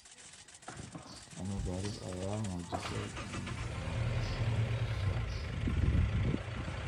Cilmi baaris ayaa muujisay in lahaanshaha xayawaanku.